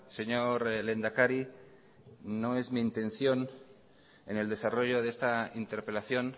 señor lehendakari no es mi intención en el desarrollo de esta interpelación